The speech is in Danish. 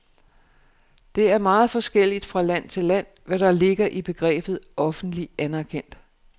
Det er meget forskelligt fra land til land, hvad der ligger i begrebet offentlig anerkendt.